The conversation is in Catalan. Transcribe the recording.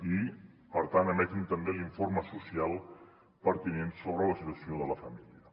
i per tant emetin també l’informe social pertinent sobre la situació de la família